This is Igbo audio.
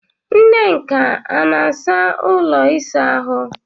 Nneka ọ na-asa ụlọ ịsa ahụ?